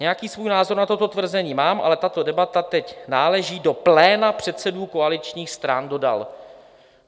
"Nějaký svůj názor na toto tvrzení mám, ale tato debata teď náleží do pléna předsedů koaličních stran," dodal.